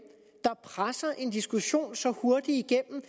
der presser en diskussion så hurtigt igennem